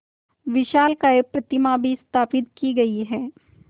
विशालकाय प्रतिमा भी स्थापित की गई है